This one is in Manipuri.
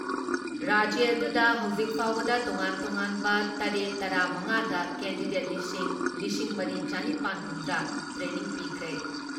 ꯔꯥꯖ꯭꯭ꯌ ꯑꯗꯨꯗ ꯍꯧꯖꯤꯛ ꯐꯥꯎꯕꯗ ꯇꯣꯉꯥꯟ ꯇꯣꯉꯥꯟꯕ ꯇꯔꯦꯠ ꯇꯔꯥ ꯃꯉꯥꯗ ꯀꯦꯟꯗꯤꯗꯦꯠ ꯂꯤꯁꯤꯡ ꯂꯤꯁꯤꯡ ꯃꯔꯤ ꯆꯥꯅꯤꯄꯥꯟ ꯍꯨꯝꯗ꯭ꯔꯥ ꯇ꯭ꯔꯦꯅꯤꯡ ꯄꯤꯈ꯭ꯔꯦ ꯫